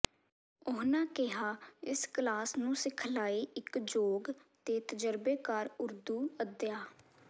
ਉਨ੍ਹਾਂ ਕਿਹਾ ਇਸ ਕਲਾਸ ਨੂੰ ਸਿਖਲਾਈ ਇਕ ਯੋਗ ਤੇ ਤਜਰਬੇਕਾਰ ਉਰਦੂ ਅਧਿਆ